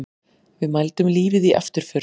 Við mældum lífið í afturför.